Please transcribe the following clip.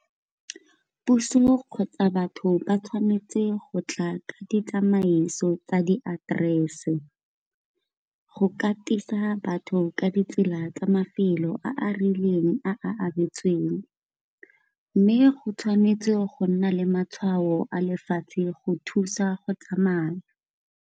Puso kgotsa batho ba tshwanetse gotla ka ditsamaiso tsa di aterese. Go katisa batho ka ditsela la tsa mafelo a a rileng a abetsweng, mme go tshwanetse go nna le matshwao a lefatshe go thusa go tsamaya.